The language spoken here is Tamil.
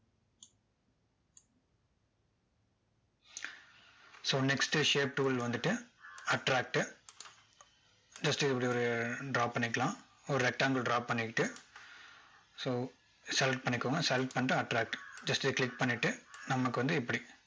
so next shape tool வந்துட்டு attract டு just இது இப்படி ஒரு draw பண்ணிக்கலாம் ஒரு rectangle draw பண்ணிக்கிட்டு so select பண்ணிக்கோங்க select பண்ணிக்கிட்டு attract just இதை click பன்ணிட்டு நமக்கு வந்து இப்படி